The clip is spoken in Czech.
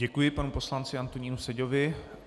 Děkuji panu poslanci Antonínu Seďovi.